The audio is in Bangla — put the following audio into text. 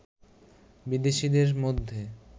বিদেশিদের মধ্যে